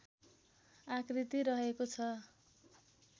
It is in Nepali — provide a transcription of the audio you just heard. आकृति रहेको छ